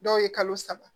Dɔw ye kalo saba